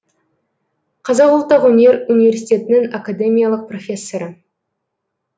қазақ ұлттық өнер университетінің академиялық профессоры